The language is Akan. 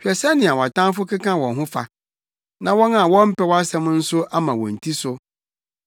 Hwɛ sɛnea wʼatamfo keka wɔn ho fa, na wɔn a wɔmpɛ wʼasɛm nso ama wɔn ti so.